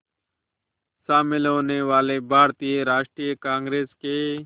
शामिल होने वाले भारतीय राष्ट्रीय कांग्रेस के